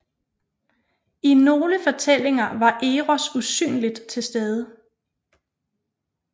I nogle fortællinger var Eros usynligt til stede